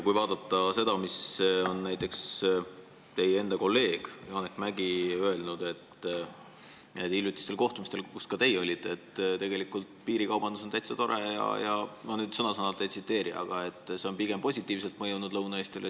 Kuid näiteks teie kolleeg Janek Mäggi ütles hiljutisel kohtumisel, kus ka teie olite, et piirikaubandus on tegelikult täitsa tore – ma nüüd sõna-sõnalt ei tsiteeri – ja et see on Lõuna-Eestile pigem positiivselt mõjunud.